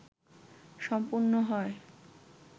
সম্পন্ন হয়